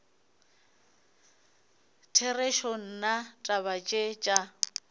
therešo nna taba tše tša